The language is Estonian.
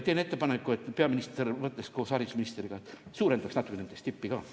Teen ettepaneku, et peaminister mõtleks koos haridusministriga ja suurendaks natuke nende stippi ka.